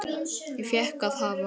Ég fékk að hafa